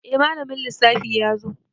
Eh malamin lissafi yazo